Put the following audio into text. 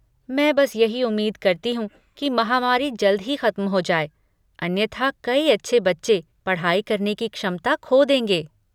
मैं बस यही उम्मीद करती हूँ कि महामारी जल्द ही खत्म हो जाए, अन्यथा कई अच्छे बच्चे पढ़ाई करने की क्षमता खो देंगे।